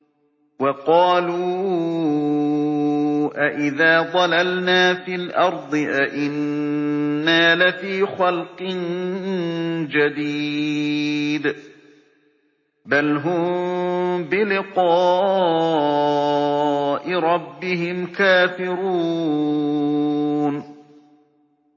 وَقَالُوا أَإِذَا ضَلَلْنَا فِي الْأَرْضِ أَإِنَّا لَفِي خَلْقٍ جَدِيدٍ ۚ بَلْ هُم بِلِقَاءِ رَبِّهِمْ كَافِرُونَ